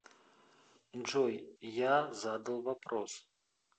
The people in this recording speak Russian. джой я задал вопрос